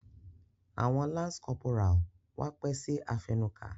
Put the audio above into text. Awọn lance corporal wá pẹ si afẹnuka.